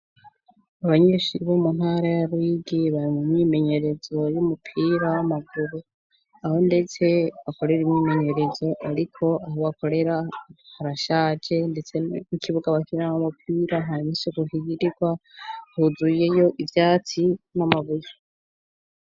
Abanyeshuri bo mu ntara ya Ruyigi bari mu myimenyerezo y'umupira w'amaguru aho ndetse bakorera imyimenyerezo ariko aho bakorera harashaje ndetse n'ikibuga bakiramwo umupira nta nisuku hagirirwa huzuyeyo ivyatsi n'amabuye.